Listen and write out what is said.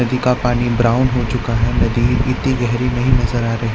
नदी का पानी ब्राउन हो चुका है नदी इतनी गहरी नजर नही आ रही--